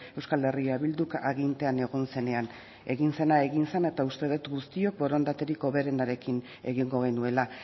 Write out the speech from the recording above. euskal herria bilduk agintean egon zenean egin zena egin zen eta uste dut guztiok borondaterik hoberenarekin egingo genuela